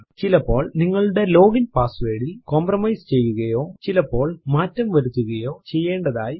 ചിലപ്പോൾ നിങ്ങളുടെ ലോഗിൻ പാസ്വേർഡിൽ കംപ്രമൈസ് ചെയ്യുകയോ ചിലപ്പോൾ മാറ്റം വരുത്തുകയോ ചെയ്യേണ്ടതായി വരും